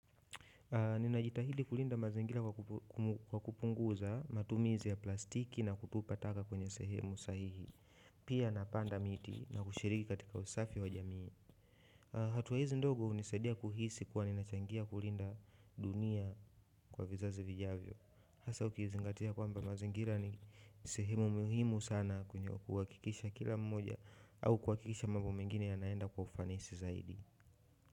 Ninajitahidi kulinda mazingira kwa kupunguza matumizi ya plastiki na kutupa taka kwenye sehemu sahihi pia napanda miti na kushiriki katika usafi wa jamii hatua hizi ndogo hunisaidia kuhisi kuwa ninachangia kulinda dunia kwa vizazi vijavyo hasa ukizingatia kwamba mazingira ni sehemu muhimu sana kwenye kuhakikisha kila mmoja au kuhakikisha mambo mengine yanaenda kwa ufanisi zaidi.